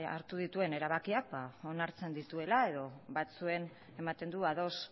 hartu dituen erabakiak onartzen dituela edo batzuekin ematen du ados